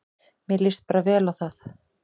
Mér líst bara vel á þá